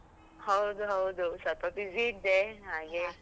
ಹೌದು ಹೌದು, ಸ್ವಲ್ಪ busy ಇದ್ದೆ ಹಾಗೆ.